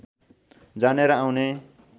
जाने र आउने